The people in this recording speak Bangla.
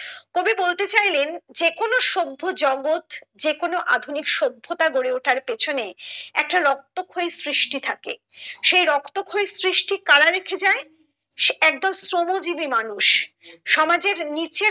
কবি বলতে চাইলেন যে কোনো সভ্য জগৎ যেকোনো আধুনিক সভ্যতার গড়ে ওঠার পিছনে একটা রক্তক্ষয়ী সৃষ্টি থাকে সেই রক্তক্ষয়ী সৃষ্টি করা রেখে যায় একদল শ্রমজীবী মানুষ সমাজের নিচে